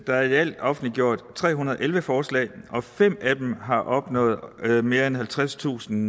der er i alt offentliggjort tre hundrede og elleve forslag og fem af dem har opnået mere end halvtredstusind